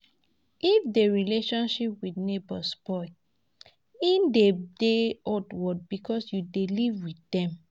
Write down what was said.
If di relationship with neighbour spoil, e dey de awkward because you dey live dem